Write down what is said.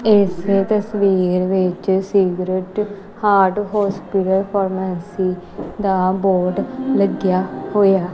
ਇਸ ਤਸਵੀਰ ਵਿੱਚ ਸਿਗਰੈਟ ਹਾਰਡ ਹੋਸਪਿਟਲ ਫਾਰਮੈਸੀ ਦਾ ਬੋਰਡ ਲੱਗਿਆ ਹੋਇਆ।